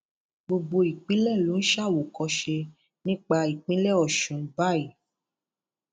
gbogbo ìpínlẹ ló ń ṣàwòkọṣe nípa ìpínlẹ ọṣun báyìí